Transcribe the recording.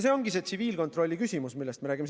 See ongi tsiviilkontrolli küsimus, millest me räägime.